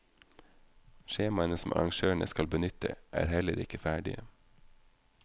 Skjemaene som arrangørene skal benytte, er heller ikke ferdige.